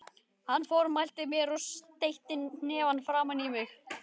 Hann formælti mér og steytti hnefann framan í mig.